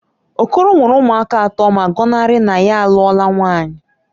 Okoro nwere ụmụaka atọ ma gọnarị na ya alụọla nwaanyị